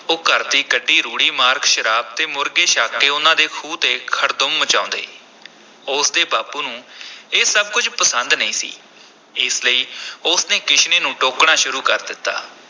ਉਹ ਘਰ ਦੀ ਕੱਢੀ ਰੂੜੀ ਮਾਰਕ ਸ਼ਰਾਬ ਤੇ ਮੁਰਗੇ ਛਕ ਕੇ ਉਨ੍ਹਾਂ ਦੇ ਖੂਹ ’ਤੇ ਖੜਦੁੰਮ ਮਚਾਉਂਦੇ ਉਸ ਦੇ ਬਾਪੂ ਨੂੰ ਇਹ ਸਭ ਕੁਝ ਪਸੰਦ ਨਹੀਂ ਸੀ ਇਸ ਲਈ ਉਸ ਨੇ ਕਿਸ਼ਨੇ ਨੂੰ ਟੋਕਣਾ ਸ਼ੁਰੂ ਕਰ ਦਿੱਤਾ।